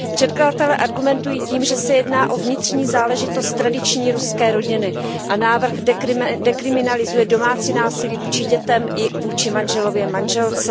Předkladatelé argumentují tím, že se jedná o vnitřní záležitost tradiční ruské rodiny, a návrh dekriminalizuje domácí násilí vůči dětem i vůči manželově manželce.